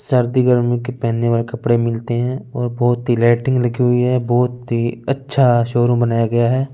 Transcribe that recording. सर्दी गर्मी के पहने वाले कपड़े मिलते हैं और बहुत ही लाइटिंग लगी हुई है बहुत ही अच्छा शोरूम बनाया गया है।